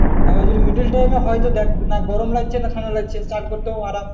আবার যদি middle time তো দেখ না গরম লাগছে না ঠান্ডা লাগছে। চ্যান করতেও আরাম।